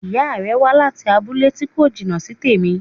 Ìya rẹ̀ wá láti abúlé tí kò jìnà sí tèmi